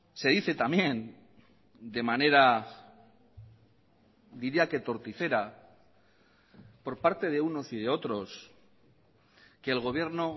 se dice también de manera diría que torticera por parte de unos y de otros que el gobierno